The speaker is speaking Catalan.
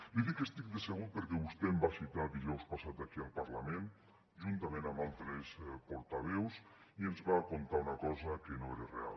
li dic que estic decebut perquè vostè em va citar dijous passat aquí al parlament juntament amb altres portaveus i ens va contar una cosa que no era real